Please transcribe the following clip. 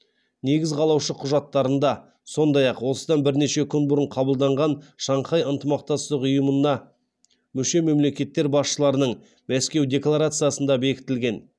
негіз қалаушы құжаттарында сондай ақ осыдан бірнеше күн бұрын қабылданған шанхай ынтымақтастық ұйымына мүше мемлекеттер басшыларының мәскеу декаларциясында бекітілген